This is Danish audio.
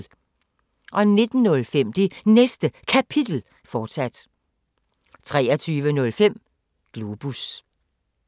19:05: Det Næste Kapitel, fortsat 23:05: Globus